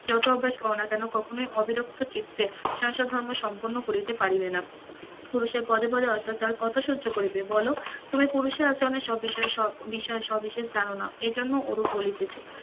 জতই অভ্যাস কর না কেন কখনোই অবিলুপ্ত চিত্তে সংসার ধর্ম সম্পন্ন করিতে পারিবে না. পুরুষের পদে পদে অত্যাচার কত সহ্য করিবে বলো তুমি পুরুষের আচরণে সবিনয়ে সৎ বিশ্বাস অবিশ্বাস জানো না এই জন্য ও রূপ বলিতে,